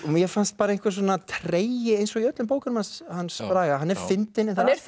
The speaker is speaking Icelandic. mér fannst einhver tregi eins og í öllum bókunum hans hans Braga hann er fyndinn en það er